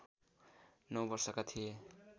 नौ वर्षका थिए